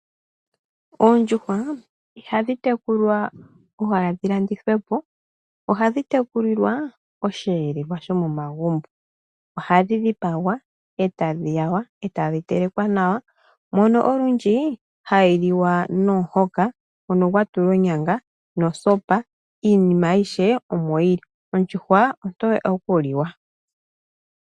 Oondjuhwa ihadhi tekulwa owala dhi landithwepo . Ohadhi tekulilwa osheelelwa sho momagumbo ohadhi dhipagwa etadhi wawa etadhi telekwa nawa mono olundji hayi liwa nomuhoka gwatulwa onyanga nosopa ,iinima ayihe omo yili. Ondjuhwa ontoye okuliwa.